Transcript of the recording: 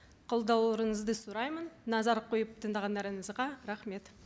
қолдауыңызды сұраймын назар қойып тыңдағандарыңызға рахмет